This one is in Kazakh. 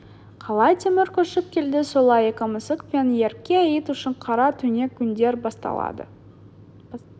қалай темір көшіп келді солай екі мысық пен ерке ит үшін қара түнек күндер басталды